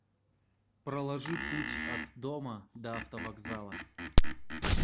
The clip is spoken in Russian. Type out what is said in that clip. проложи путь от дома до автовокзала